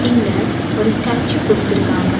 இங்க ஒரு ஸ்டாச்சூ குடுத்துருக்காங்க.